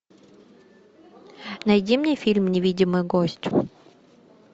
найди мне фильм невидимый гость